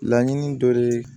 Laɲini dɔ de ye